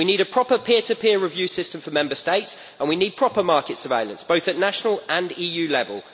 We need a proper peer to peer review system for Member States and we need proper market surveillance both at national and EU level.